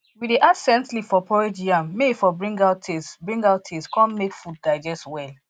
we dey add scent leaf for porridge yam may e for bring out taste bring out taste con make make food digest well